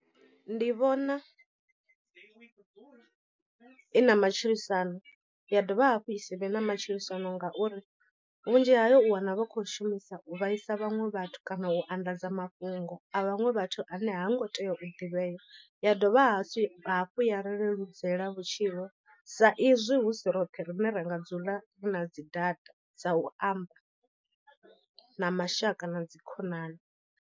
Ndi vhona i na matshilisano ya dovha hafhu i sivhe na matshilisano ngauri vhunzhi hayo u wana vha khou shumisa u vhaisa vhaṅwe vhathu kana u anḓadza mafhungo a vhaṅwe vhathu ane ha ngo tea u ḓivhea. Ya dovha hafhu ya ri leludzela vhutshilo sa izwi hu si roṱhe rine ra nga dzula rina dzi data dza u amba na mashaka na dzi khonani.